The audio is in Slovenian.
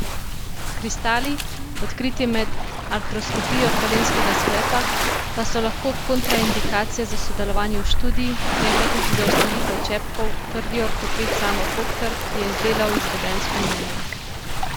Kristali, odkriti med artroskopijo kolenskega sklepa, pa so lahko kontraindikacija za sodelovanje v študiji, ne pa tudi za vstavitev čepkov, trdi ortoped Samo Fokter, ki je izdelal izvedensko mnenje.